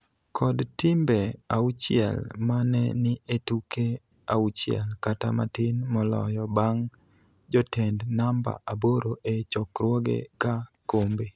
kod timbe auchiel ma ne ni e tuke auchiel kata matin moloyo bang� jotend namba aboro e chokruoge ka kombe.